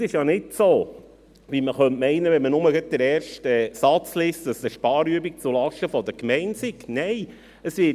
Es ist nicht so, wie man meinen könnte, wenn man nur den ersten Satz liest, dass es eine Sparübung zulasten der Gemeinden sei, nein.